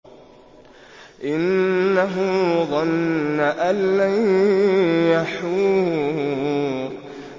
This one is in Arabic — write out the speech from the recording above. إِنَّهُ ظَنَّ أَن لَّن يَحُورَ